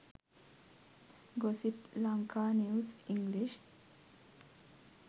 gossip lanka news english